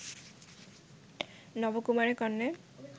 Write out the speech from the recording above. নবকুমারের কর্ণে